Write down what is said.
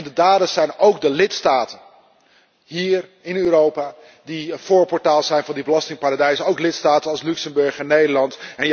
En de daders zijn ook de lidstaten, hier in Europa, die een voorportaal zijn van die belastingparadijzen, ook lidstaten als Luxemburg en Nederland.